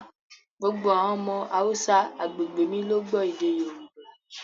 Gbogbo àwọn ọmọ Haúsá agbègbè mi ló gbọ́ èdè Yorùbá